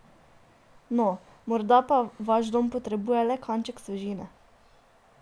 No, morda pa vaš dom potrebuje le kanček svežine?